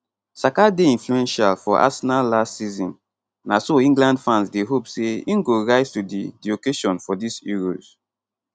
saka dey influential for arsenal last season na so england fans dey hope say im go rise to di di occasion for dis euros